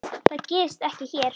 Það gerist ekki hér.